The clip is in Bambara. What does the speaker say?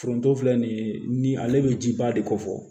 Foronto filɛ nin ye ni ale bɛ ji ba de kɔ fɔ